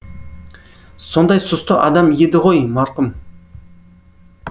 сондай сұсты адам еді ғой марқұм